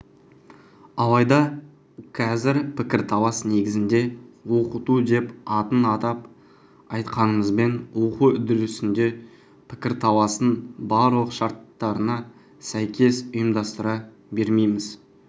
алайда қазір пікірталас негізінде оқыту деп атын атап айтқанымызбен оқу үдерісінде пікірталастың барлық шарттарына сәйкес ұйымдастыра бермейміз